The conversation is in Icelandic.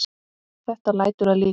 Þetta lætur að líkum.